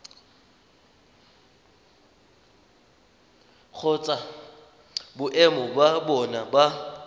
kgotsa boemo ba bona ba